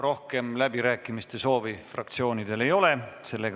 Rohkem läbirääkimiste soovi fraktsioonidel ei ole.